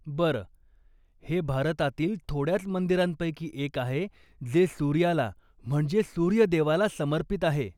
बरं, हे भारतातील थोड्याच मंदिरांपैकी एक आहे जे सूर्याला म्हणजेच सूर्यदेवाला समर्पित आहे.